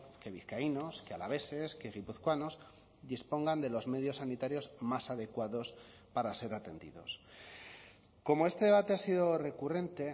que vizcaínos que alaveses que guipuzcoanos dispongan de los medios sanitarios más adecuados para ser atendidos como este debate ha sido recurrente